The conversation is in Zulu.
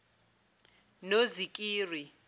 nozikiri